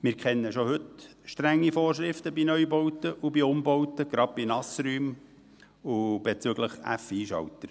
Wir kennen schon heute strenge Vorschriften bei Neu- und bei Umbauten, gerade bei Nassräumen und bezüglich FISchaltern.